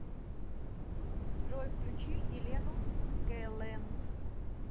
джой включи елену гэлэнт